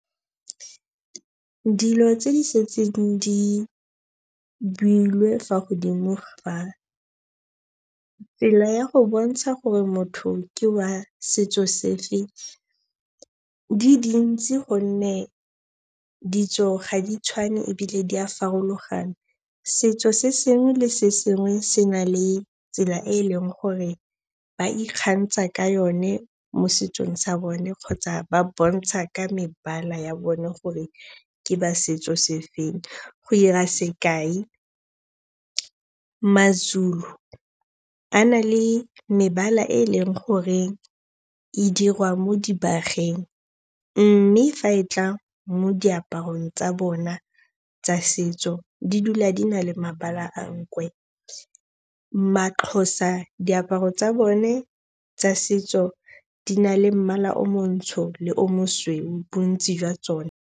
Dilo tse di setseng di builwe fa godimo ga tsela ya go bontsha gore motho ke wa setso se fe di dintsi gonne ditso ga di tshwane ebile di a farologana. Setso se sengwe le sengwe se na le tsela e e leng gore ba ikgantsha ka yone mo setsong sa bone kgotsa ba bontsha ka mebala ya bone gore ke ba setso se feng. Go 'ira sekai, Mazulu a na le mebala e e leng gore e dirwa mo dibageng mme fa e tla mo diaparong tsa bona tsa setso di dula di na le mabala a nkwe. Maxhosa diaparo tsa bone tsa setso di na le mmala o montsho le o mosweu bontsi jwa tsone.